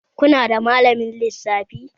Ku nada malamin lissafi?